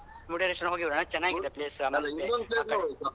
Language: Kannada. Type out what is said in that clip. ಮುರ್ಡೇಶ್ವರ ಹೋಗಿ ಬರ್ವೊನಾ ಚೆನ್ನಾಗಿದೆ ಪ್ಲೇಸ್ ಆಕಡೆ.